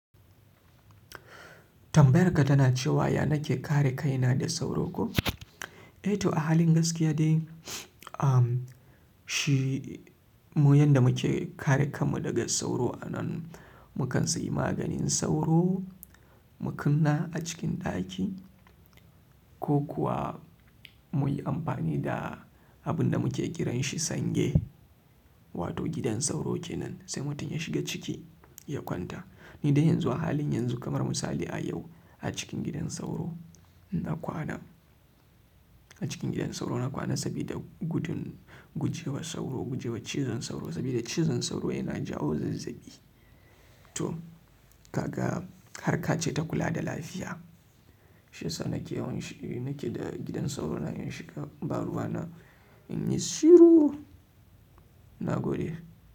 Tambayar ka tana cewa, "Ya nake kare kaina da sauro ko?" Eh to, a halin gaskiya dai, shi mu yanda muke kare kanmu daga sauro anan, mu kan sayi maganin sauro, mu kunna a cikin ɗaki ko kuwa mu yi amfani da abin da muke kiran shi sange, wato gidan sauro kenan sai mutum ya shiga ciki ya kwanta. Ni dai yanzu a halin yanzu kamar misali a yau a cikin gidan sauro na kwana. Acikin gidan sauro na kwana, sabida gudun gujewa sauro, gujewa cizon sauro. Sabida cizon sauro yana jawa zazzabi. To, kaga harka ce ta kula da lafiya. Shiyasa nake yawan shi nake da gidan sauro na in shiga, baruwa na in yi shiru, na gode.